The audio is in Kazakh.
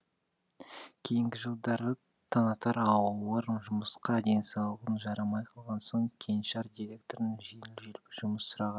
кейінгі жылдары таңатар ауыр жұмысқа денсаулығы жарамай қалған соң кеңшар директорынан жеңіл желпі жұмыс сұраған